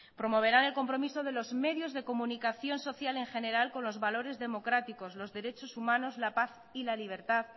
promoverán el compromiso de los medios de comunicación social en general con los valores democráticos los derechos humanos la paz y la libertad